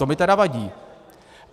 To mi tedy vadí.